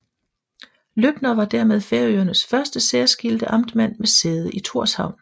Løbner var dermed Færøernes første særskilte amtmand med sæde i Tórshavn